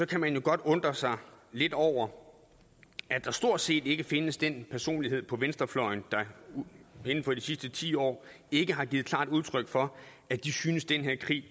kan man jo godt undre sig lidt over at der stort set ikke findes den personlighed på venstrefløjen der inden for de sidste ti år ikke har givet klart udtryk for at de synes den her krig